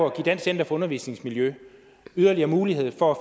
at give dansk center for undervisningsmiljø yderligere mulighed for at